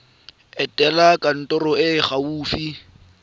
etela kantoro e e gaufi